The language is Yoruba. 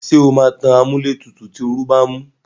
Ṣé o máa tan amúlétutù tí oru bá ń mú?